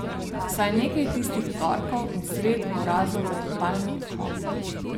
Vsaj nekaj tistih torkov in sred bo razlog za totalni odklop.